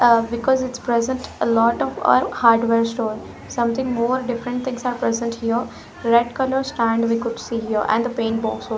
ah because it's present a lot of our hardware store something more different things are present here red color stand we could see here and paint box also.